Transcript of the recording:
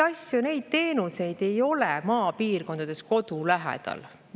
Neid teenuseid ei pakuta maapiirkondades kodu lähedal.